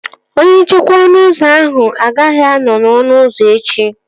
Onye nchekwa ọnụ ụzọ ahụ agaghị anọ n'ọnụ ụzọ echi